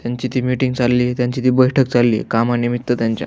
त्यांची ती मीटिंग चाललीये त्यांची ती बैठक चाललीये कामा निमित्त त्यांच्या.